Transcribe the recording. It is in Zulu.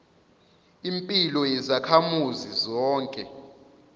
impilo yezakhamuzi zonke